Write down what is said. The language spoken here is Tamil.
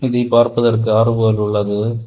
இதை பார்ப்பதற்கு ஆறு போல் உள்ளது.